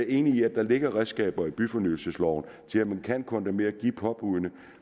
enig i at der ligger redskaber i byfornyelsesloven til at man kan kondemnere og give påbuddene